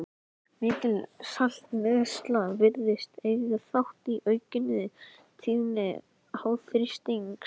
Mikil saltneysla virðist eiga þátt í aukinni tíðni háþrýstings.